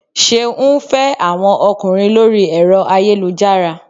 Ṣeun ń fẹ́ àwọn ọkùnrin lórí ẹ̀rọ ayélujára